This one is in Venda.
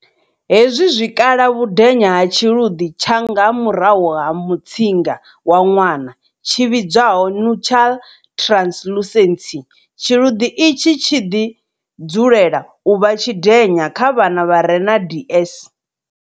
Hezwi zwi kala vhudenya ha tshiluḓi tsha nga murahu ha mutsinga wa ṅwana, tshi vhidzwaho nuchal translucency. Tshiluḓi itshi tshi dzulela u vha tshidenya kha vhana vha re na DS.